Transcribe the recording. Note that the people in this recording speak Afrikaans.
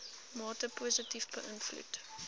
mate positief beïnvloed